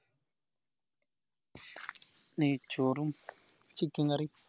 നെയ്‌ച്ചോറും chicken curry യും